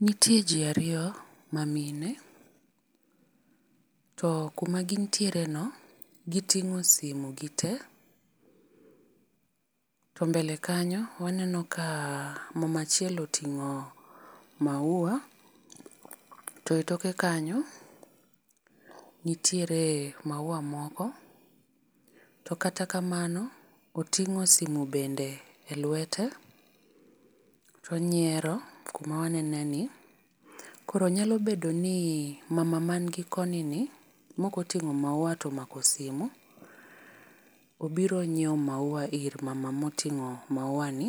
Nitie ji ariyo mamine, to kuma gintiere no giting'o simu gite. To mbele kanyo waneno ka mama achiel oting'o maua to e toke kanyo nitiere maua moko, to kata kamano, tong'o simu bende e lwete. To onyiero kuma wanene ni. Koro nyalo bedo ni mama mani koni ni, ma ok oting'o maua to nigi simu obiro nyiewo maua ir mama ma oting'o maua ni.